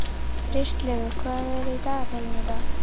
Kristlaugur, hvað er í dagatalinu í dag?